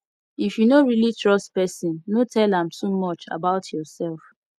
if you no really trust person no tell am too much about yourself